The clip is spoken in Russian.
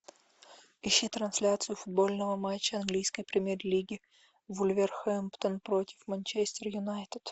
ищи трансляцию футбольного матча английской премьер лиги вулверхэмптон против манчестер юнайтед